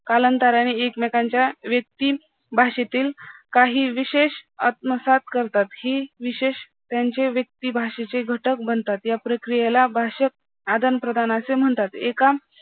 कालांतराने एकमेकांच्या व्यक्ती भाषेतील काही विशेष आत्मसात करतात ही विशेष त्यांचे व्यक्तीभाषेचे घटक बनतात या प्रक्रियेला भाषक आदान-प्रदान म्हणतात